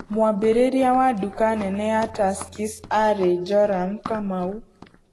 Mwambĩrĩria wa duka nene ya Tuskys aarĩ Joram Kamau.